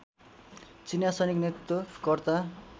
चिनीया सैनिक नेतृत्व कर्ता